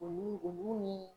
Olu olu ni